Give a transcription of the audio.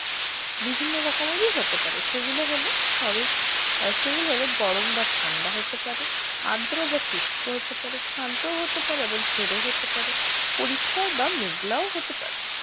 বিভিন্ন রকমেরই হতে পারে সেগুলো হলো শরৎ আর সেগুলো হলো গরম বা ঠান্ডা হতে পারে আদ্র বা শুস্ক হতে পারে শান্তও হতে পারে আবার ঝোড়ো হতে পারে পরিষ্কার বা মেঘলাও হতে পারে